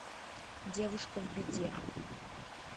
девушка в беде